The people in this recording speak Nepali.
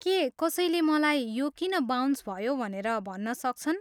के कसैले मलाई यो किन बाउन्स भयो भनेर भन्न सक्छन्?